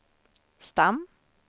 stam